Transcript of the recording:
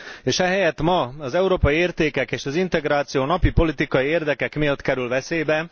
És ehelyett ma az európai értékek és az integráció napi politikai érdekek miatt kerül veszélybe.